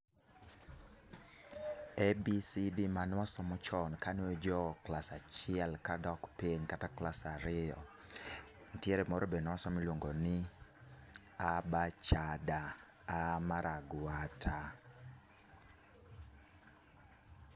ABCD mane wasomo chon, kane waji klas achiel kadok piny, kata klas ariyo. Nitiere moro be newasomo miluongo ni a ba cha da, a mar agwata.